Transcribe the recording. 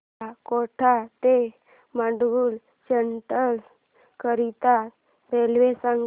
मला कोटा ते माटुंगा सेंट्रल करीता रेल्वे सांगा